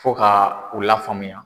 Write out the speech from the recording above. Fo ka u lafaamuya.